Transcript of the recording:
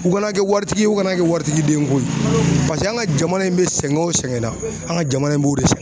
U kana kɛ waritigi ye, u kana kɛ waritigi den ko ye paseke an ka jamana in bɛ sɛgɛn o sɛgɛnna an ka jamana in b'o de sɛn